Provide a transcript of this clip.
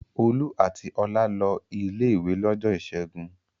Olú àti Ọlá lọ ilé-ìwé lọ́jọ́ ìṣẹ́gun.